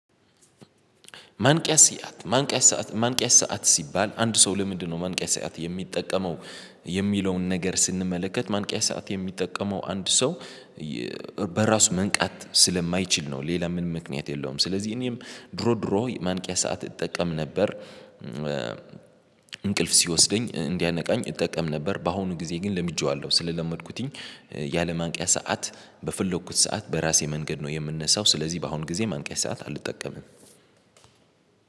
ማንቂያ ስያት ማንቂያ ሰዓት ማንቂያ ሰዓት ሲባል አንድ ሰው ለምንድነው? ማንቂያ ሰዓት የሚጠቀመው የሚለውን ነገር ስንመለከት ማንቂያ ሰዓት የሚጠቀመው አንድ ሰው በራሱ መንቃት ስለማይችል ነው። ሌላ ምን ምክንያት የለውም። ስለዚህ እኔም ድሮ ድሮ ማንቂያ ሰዓት እጠቀም ነበር እንቅልፍ ሲወስደኝ እንዲያነቃኝ እጠቀም ነበር። በአሁኑ ጊዜ ግን ለምጄዋለሁ ስለለመድኩትኝ ያለ ማንቂያ ሰዓት በፍለኩት ሰዓት በራሴ መንገድ ነው የምንነሳው ስለዚህ በአሁን ጊዜ ማንቂያ ሰዓት አልጠቀምም።